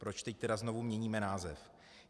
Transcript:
Proč teď tedy znovu měníme název?